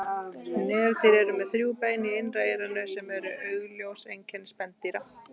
Nefdýr eru með þrjú bein í innra eyranu sem eru augljós einkenni spendýra.